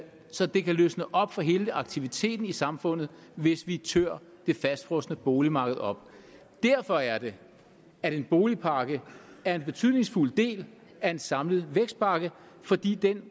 så det kan løse op for hele aktiviteten i samfundet hvis vi tør det fastfrosne boligmarked op derfor er det at en boligpakke er en betydningsfuld del af en samlet vækstpakke fordi den